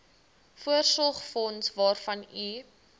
voorsorgsfonds waarvan u